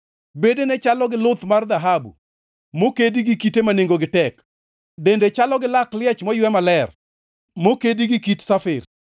Bedene chalo gi luth mar dhahabu, mokedi gi kite ma nengongi tek. Dende chalo gi lak liech moywe maler, mokedi gi kit safir.